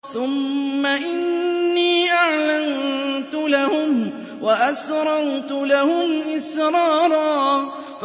ثُمَّ إِنِّي أَعْلَنتُ لَهُمْ وَأَسْرَرْتُ لَهُمْ إِسْرَارًا